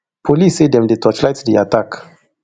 police say dem dey torchlight di attack